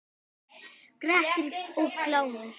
Grettir og Glámur